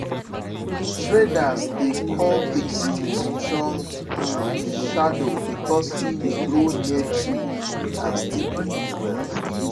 traders dey call this maize strong um shadow because e dey grow near tree and still produce well.